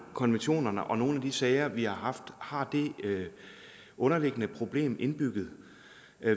konventionerne og nogle af de sager vi har haft har et underliggende problem indbygget